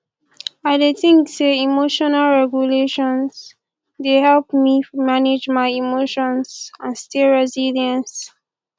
i dey think say emotional regulation dey help me manage my emotions and stay resilience